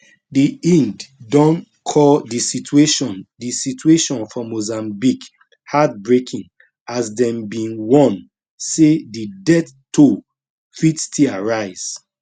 di ingd don call di situation di situation for mozambique heartbreaking as dem bin warn say di death toll fit still rise